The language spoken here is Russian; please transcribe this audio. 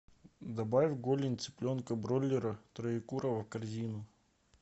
добавь голень цыпленка бройлера троекурово в корзину